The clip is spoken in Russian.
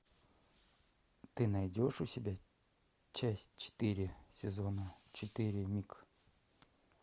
ты найдешь у себя часть четыре сезона четыре миг